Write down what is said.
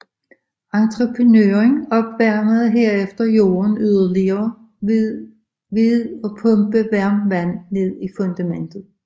Entreprenøren opvarmede herefter jorden yderligere ved at pumpe varmt vand ned til fundamentet